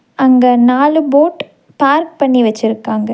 அங்க நாலு boat park பண்ணி வெச்சிருக்காங்க.